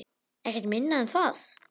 Ekkert minna en það!